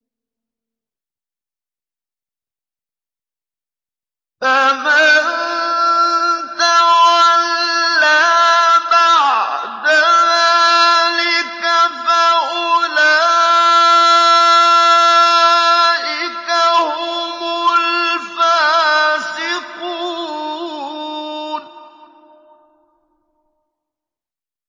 فَمَن تَوَلَّىٰ بَعْدَ ذَٰلِكَ فَأُولَٰئِكَ هُمُ الْفَاسِقُونَ